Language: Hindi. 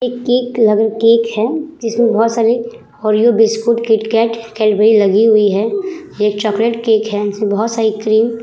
एक केक लग केक है जिसमें बहुत सारे ओरियो बस्कुट किटकैट कैडबरी लगी हुई है। ये चॉकलेट केक है इसमें बहुत साड़ी क्रीम --